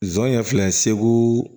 Zon ye filɛ segu